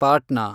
Patna